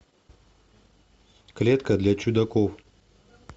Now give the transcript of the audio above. клетка для чудаков